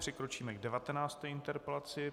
Přikročíme k 19. interpelaci.